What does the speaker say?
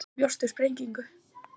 Ég bjóst við sprengingu.